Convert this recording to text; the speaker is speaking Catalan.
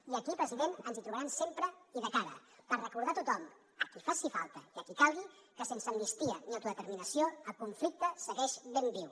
i aquí president ens hi trobaran sempre i de cara per recordar a tothom a qui faci falta i a qui calgui que sense amnistia ni autodeterminació el conflicte segueix ben viu